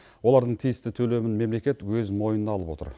олардың тиісті төлемін мемлекет өз мойнына алып отыр